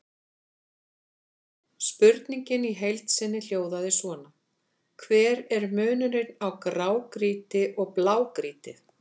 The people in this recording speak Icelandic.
Spurningin í heild sinni hljóðaði svona: Hver er munurinn á grágrýti og blágrýti?